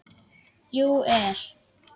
. jú. er.